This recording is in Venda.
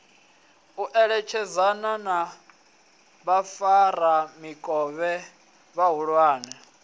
u eletshedzana na vhafaramikovhe vhahulwane